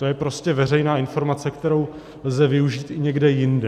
To je prostě veřejná informace, kterou lze využít i někde jinde.